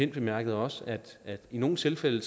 bemærkede også at i nogle tilfælde